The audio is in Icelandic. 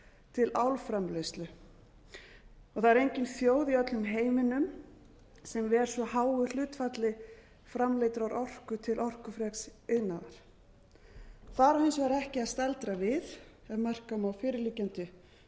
til álframleiðslu það er engin þjóð í öllum heiminum sem ver svo háu hlutfalli framleiddrar orku til orkufreks iðnaðar þar á hins vegar ekki að staldra við ef marka má fyrirliggjandi